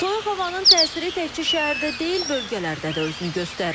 Soyuq havanın təsiri təkcə şəhərdə deyil, bölgələrdə də özünü göstərir.